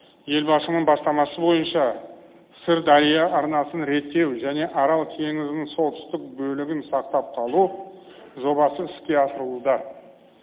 елбасының бастамасы бойынша сырдария арнасын реттеу және арал теңізінің солтүстік бөлігін сақтап қалу жобасы іске асырылуда